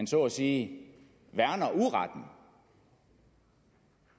så at sige værner uretten